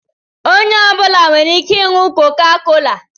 Onye ọ bụla nwere ike ịnụ koka-kola